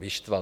Vyštval.